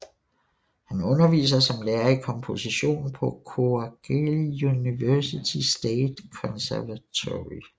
Han underviser som lærer i komposition på Kocaeli University State Conservatory